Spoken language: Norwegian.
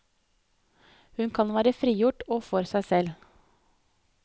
Hun kan være frigjort og for seg selv.